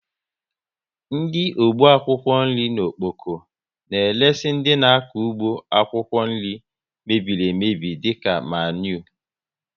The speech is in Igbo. Ndị ọgbọ akwụkwọ nri n'Okpoko na eresi dị n' akọ ụgbọ akwụkwọ nri mebiri emebi dịka maniure